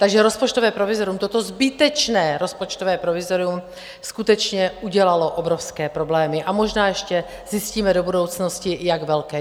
Takže rozpočtové provizorium, toto zbytečné rozpočtové provizorium skutečně udělalo obrovské problémy, a možná ještě zjistíme do budoucnosti, jak velké.